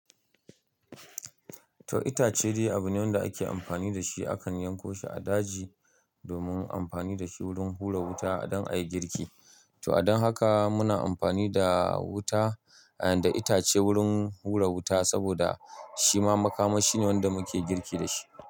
To itace dai abu ne wanda ake amfani da shi. Akan yankon shi a daji domin amfani da shi wurin hura wuta dan a yi girki. To a dan haka muna amfani da wuta, eh da itace wurin hura wuta saboda shima makamashi ne wanda muke girki da shi.